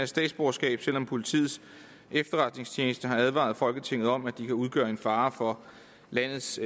statsborgerskab selv om politiets efterretningstjeneste har advaret folketinget om at de kan udgøre en fare for landets